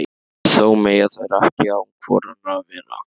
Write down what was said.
Þó mega þær ekki án hvor annarrar vera.